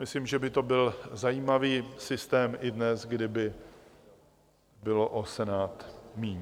Myslím, že by to byl zajímavý systém i dnes, kdyby bylo o Senát míň.